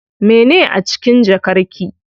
Mene a cikin jakar ki?